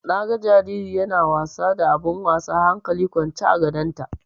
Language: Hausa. Na ga jariri yana wasa da abun wasa hankali kwance a gadonta.